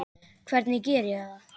Hvernig geri ég það?